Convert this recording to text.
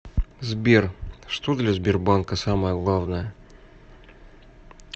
сбер что для сбербанка самое главное